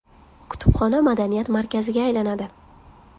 Kutubxona madaniyat markaziga aylanadi.